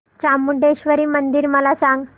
चामुंडेश्वरी मंदिर मला सांग